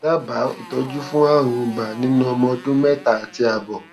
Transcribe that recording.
dábàá ìtọjú fún àrùn ibà nínú ọmọ ọdún mẹta àti àbọ